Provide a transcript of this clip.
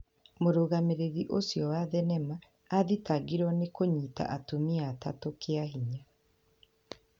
Mũrũgamĩrĩri ũcio wa thenema aathitangĩirũo nĩ kũnyitwo atumia atatũkĩa hinya.